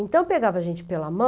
Então, pegava a gente pela mão,